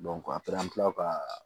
ka